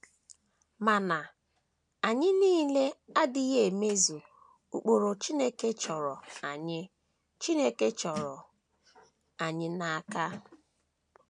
Mana, anyị niile adịghị emezu ụkpụrụ Chineke chọrọ anyị Chineke chọrọ anyị n’aka.